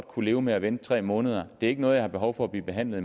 kunne leve med at vente tre måneder det er ikke noget jeg har behov for at blive behandlet